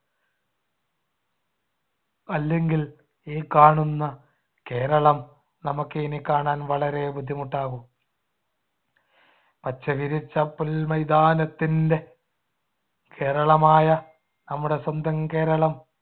അല്ലെങ്കിൽ ഈ കാണുന്ന കേരളം നമുക്കിനി കാണാൻ വളരെ ബുദ്ധിമുട്ടാകും. പച്ചവിരിച്ച പുൽമൈതാനത്തിന്‍ടെ കേരളമായ നമ്മുടെ സ്വന്തം കേരളം